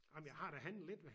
Ah men jeg har da handlet lidt ved